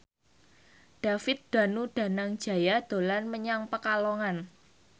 David Danu Danangjaya dolan menyang Pekalongan